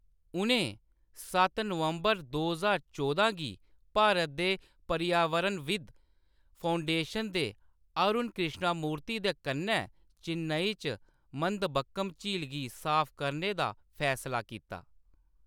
उʼनें सत्त नवंबर दो ज्हार चौह्दां गी भारत दे पर्यावरणविद् फाउंडेशन दे अरुण कृष्णमूर्ति दे कन्नै चेन्नई च मदंबक्कम झील गी साफ करने दा फैसला कीता।